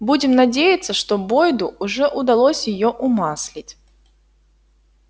будем надеяться что бойду уже удалось её умаслить